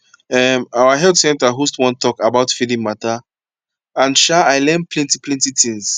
um our health center host one talk about feeding matter and um i learn plenty plenty things